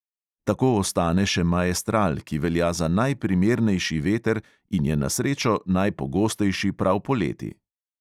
Tako ostane še maestral, ki velja za najprimernejši veter in je na srečo najpogostejši prav poleti.